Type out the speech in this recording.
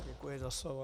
Děkuji za slovo.